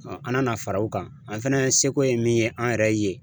an nana fara o kan an fɛnɛ seko ye min ye an yɛrɛ ye